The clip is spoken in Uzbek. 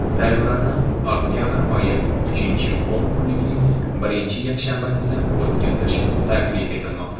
saylovlarni oktyabr oyi uchinchi o‘n kunligining birinchi yakshanbasida o‘tkazish taklif etilmoqda.